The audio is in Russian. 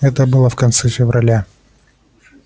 это было в конце февраля